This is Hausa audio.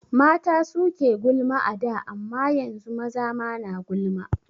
Mata suke gulma a da amma yanzu maza ma na gulma